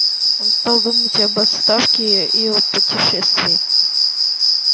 он стал думать об отставке и о путешествии